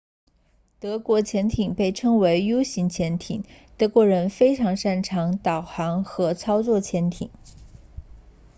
德国潜艇被称为 u 型潜艇德国人非常擅长导航和操作潜艇